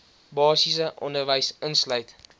basiese onderwys insluit